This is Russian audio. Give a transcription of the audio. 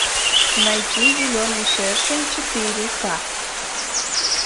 найти зеленый шершень четыре ка